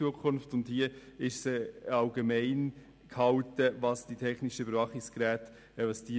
Es ist in Artikel 118 Absatz 2 nur sehr allgemein formuliert, was technische Überwachungsgeräte sind.